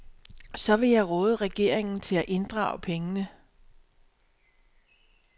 Så jeg vil råde regeringen til at inddrage pengene.